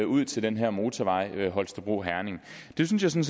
ud til den her motorvej mellem holstebro og herning det synes jeg